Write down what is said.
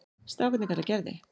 Strákarnir kalla Gerði